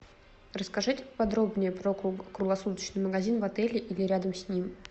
расскажите подробнее про круглосуточный магазин в отеле или рядом с ним